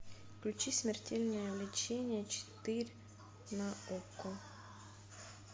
включи смертельное лечение четыре на окко